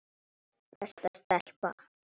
Besta stelpa.